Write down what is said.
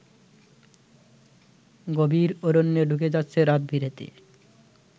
গভীর অরণ্যে ঢুকে যাচ্ছে রাতবিরেতে